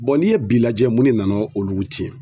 n'i ye bi lajɛ mun de nana olu tiɲɛ.